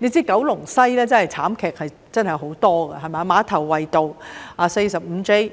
須知道，九龍西的慘劇真的很多，馬頭圍道 45J